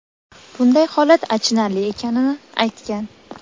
bunday holat achinarli ekanini aytgan.